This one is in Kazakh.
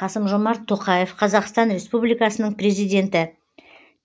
қасым жомарт тоқаев қазақстан республикасының президенті